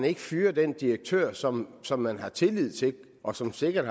ikke fyrer den direktør som som man har tillid til og som sikkert